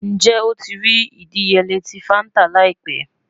Njẹ o ti rii idiyele ti fanta laipẹ?